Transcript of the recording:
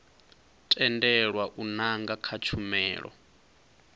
tendelwa u nanga kha tshumelo